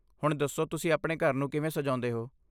ਹੁਣ ਦੱਸੋ ਤੁਸੀਂ ਆਪਣੇ ਘਰ ਨੂੰ ਕਿਵੇਂ ਸਜਾਉਂਦੇ ਹੋ?